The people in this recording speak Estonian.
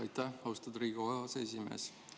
Aitäh, austatud Riigikogu aseesimees!